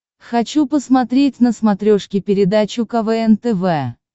хочу посмотреть на смотрешке передачу квн тв